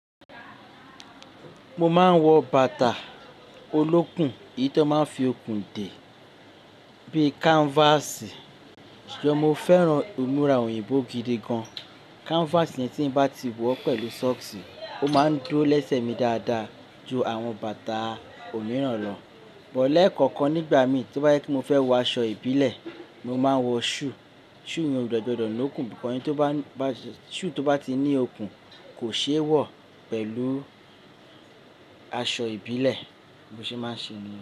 Mo máa ń wọ bàtà olókùn, èyí tó máa ń fi okùn dè bí i canvas. Ṣùgbọ́n mo fẹ́ràn ìmúra òyìnbó gidi gan. Canvas yẹn tí mo bá ti wọ pẹ̀lú socks, ó máa ń dúró lẹ́sẹ̀ mi dáadáa ju àwọn bàtà òmíràn lọ. But lekankan nígbà mi tí ó bá jẹ pe mo fẹ́ wọ aṣọ ìbílẹ̀, mo máa wọ shoe. Shoe yen o de gbodọ̀ ni ókùn, but eni to ba shoe tó bá ti ní okùn kò ṣe é wọ̀ pẹ̀lú aṣọ ìbílẹ̀ bí mo ṣe máa ń ṣe ni.